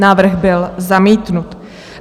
Návrh byl zamítnut.